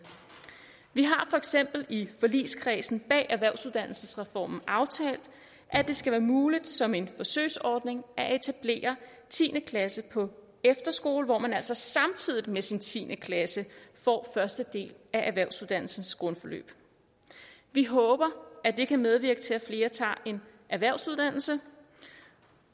vi har for eksempel i forligskredsen bag erhvervsuddannelsesreformen aftalt at det skal være muligt som en forsøgsordning at etablere tiende klasse på efterskole hvor man altså samtidig med sin tiende klasse får første del af erhvervsuddannelsens grundforløb vi håber at det kan medvirke til at flere tager en erhvervsuddannelse